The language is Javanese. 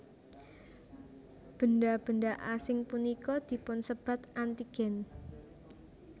Benda benda asing punika dipunsebat antigen